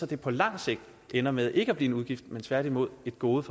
det på lang sigt ender med ikke at blive en udgift men tværtimod et gode